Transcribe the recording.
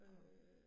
Og